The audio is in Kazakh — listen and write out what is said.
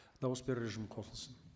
дауыс беру режимі қосылсын